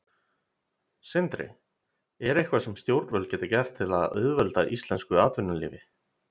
Sindri: Er eitthvað sem stjórnvöld geta gert til að auðvelda íslensku atvinnulífi?